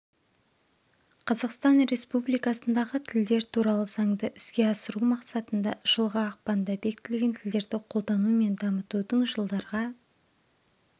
қазақстан республикасындағы тілдер туралы заңды іске асыру мақсатында жылғы ақпанда бекітілген тілдерді қолдану мен дамытудың жылдарға